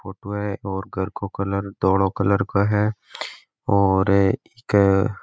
फोटो है और घर को कलर धोलो कलर को है और इ के --